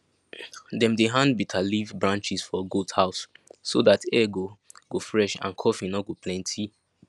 dem dey hand bitter leaf branches for goat house so that air go go fresh and coughing no go plenty